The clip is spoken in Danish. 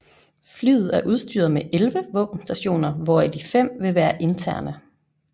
Flyet er udstyret med 11 våbenstationer hvoraf de fem vil være interne